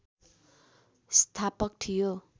स्थापक थियो